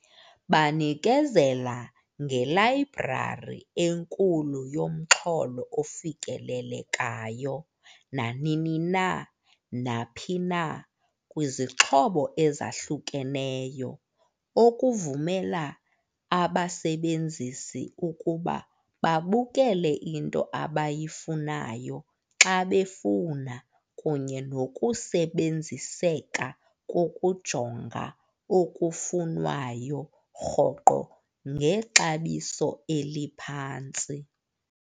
Banikezela ngelayibrari enkulu yomxholo ofikelelekayo nanini na, naphi na, kwizixhobo ezakhukeneyo, okuvumela abasebenzisi ukuba babukele into abayifunayo xa befuna kunye nokusebenziseka kokujonga okufunwayo rhoqo ngexabiso eliphantsi.